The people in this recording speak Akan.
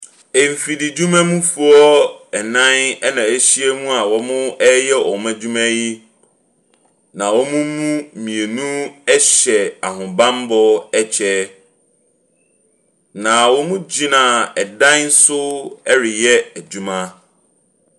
Mfididwumafoɔ nnan na wɔahya mu a wɔreyɛ wɔn adwuma yi, na wɔn mu mmienu hyɛ ahobammɔ kyɛ, na wɔgyina dan so reyɛ adwuma.